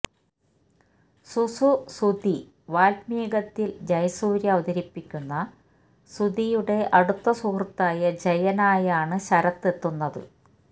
സുസു സുധി വാത്മീകത്തില് ജയസൂര്യ അവതരിപ്പിയ്ക്കുന്ന സുധിയുടെ അടുത്ത സുഹൃത്തായ ജയനായാണ് ശരത്ത് എത്തുന്നത്